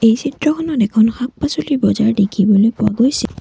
এই চিত্ৰখনত এখন শাক-পাছলিৰ বজাৰ দেখিবলৈ পোৱা গৈছে।